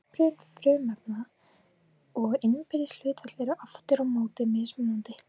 uppröðun frumefnanna og innbyrðis hlutföll eru aftur á móti mismunandi